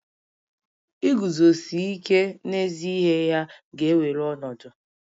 Iguzosi ike n'ezi ihe ya ga-ewere ọnọdụ